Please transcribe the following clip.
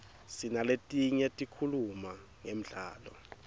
sinaletinye tikhuluma ngemdlalo